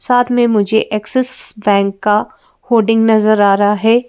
साथ में मुझे एक्सिसस बैंक का होल्डिंग नजर आ रहा है।